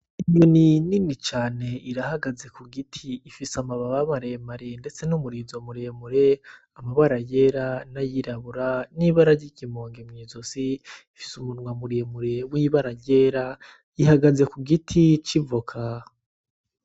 Inyoni nini cane irahagaze ku giti ifise amababa mare mare ndetse n' umurizo mure mure, amabara yera n' ayirabura n' ibara ryiki monge mw'izosi ifise umunwa w' ibara ryera ihagaze Ku giti c'ivoka.